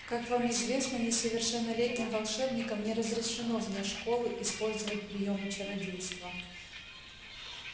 как вам известно несовершеннолетним волшебникам не разрешено вне школы использовать приёмы чародейства